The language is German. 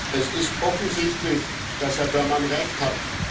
Es ist offensichtlich, dass Herr Berman recht hat.